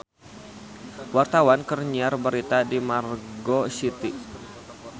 Wartawan keur nyiar berita di Margo City